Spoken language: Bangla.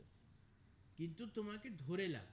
কিন্তু তোমাকে কে ধরে লাভ